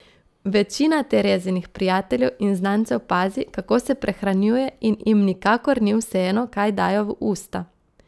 Večina Terezinih prijateljev in znancev pazi, kako se prehranjuje, in jim nikakor ni vseeno, kaj dajo v usta.